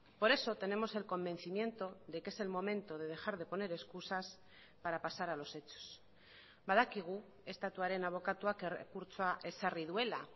por eso tenemos el convencimiento de que es el momento de dejar de poner excusas para pasar a los hechos badakigu estatuaren abokatuak errekurtsoa ezarri duela